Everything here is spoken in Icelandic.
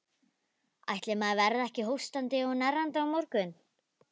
Ætli maður verði ekki hóstandi og hnerrandi á morgun.